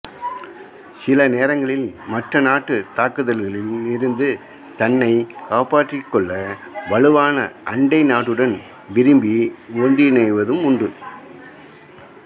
சில நேரங்களில் மற்ற நாட்டு தாக்குதல்களிலிருந்து தன்னைக் காப்பாற்றிக் கொள்ள வலுவான அண்டைநாட்டுடன் விரும்பி ஒன்றிணைவதும் உண்டு